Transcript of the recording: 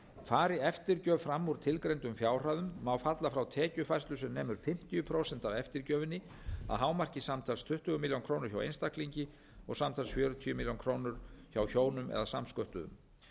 farið eftirgjöf fram úr tilgreindum fjárhæðum má falla frá tekjufærslu sem nemur fimmtíu prósent af eftirgjöfinni að hámarki samtals tuttugu milljónir króna hjá einstaklingi og samtals fjörutíu milljónir króna hjá hjónum eða samsköttuðum